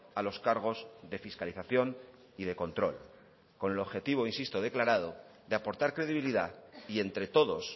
a los cargos de fiscalización y de control con el objetivo insisto declarado de aportar credibilidad y entre todos